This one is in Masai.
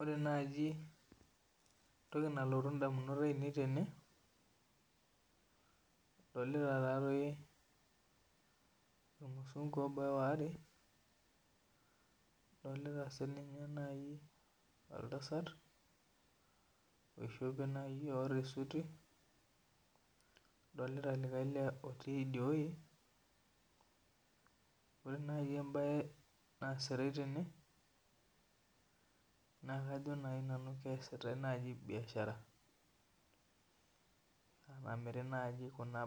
Ore nai entoki nalotu ndamunot ainei adolita irmusungu obaya aareadolita si nai oltasat ishopoboota esuti adolta likae lee otii idieweuji adolta sii na kajo su nanu keesitae biasharani okuna